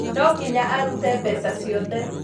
Nonginya arūte mbeca ciothe